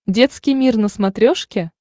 детский мир на смотрешке